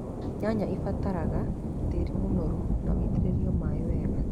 Nyanya ĩbataraga tĩri mũnoru na wĩitĩrĩirio maaĩ wega.